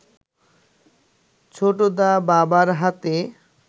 ছোটদা বাবার হাতে